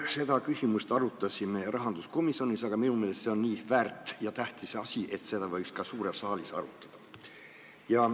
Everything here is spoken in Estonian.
Me arutasime seda küsimust rahanduskomisjonis, aga minu meelest on see nii väärt ja tähtis asi, et seda võiks ka suures saalis arutada.